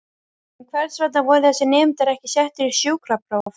En hvers vegna voru þessir nemendur ekki settir í sjúkrapróf?